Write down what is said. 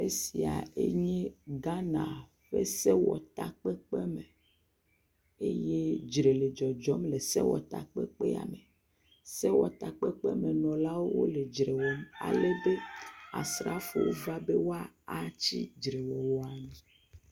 Esiae nye Ghana ƒe sewɔtakpekpeme eye dzre le dzɔdzɔm le sewɔtakpekpea me. Sewɔtakpekpemenɔlawo wole dzre wɔm alebe Asrafowo va be woa atsi dzrewɔwɔa nu.